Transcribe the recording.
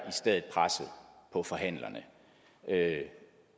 i stedet presset på forhandlerne